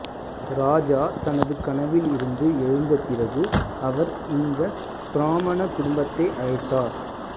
ராஜா தனது கனவில் இருந்து எழுந்த பிறகு அவர் இந்த பிராமண குடும்பத்தை அழைத்தார்